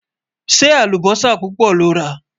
ṣé àlùbósà púpá lọrá?